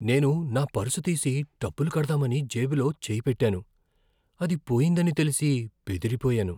నేను నా పర్సు తీసి డబ్బులు కడదామని జేబులో చేయి పెట్టాను. అది పోయిందని తెలిసి బెదిరిపోయాను!